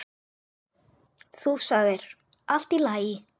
Þú sagðir: Allt í lagi.